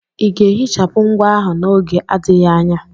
Ị ga-ehichapụ ngwa ahụ n'oge adịghị anya?